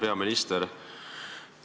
Hea peaminister!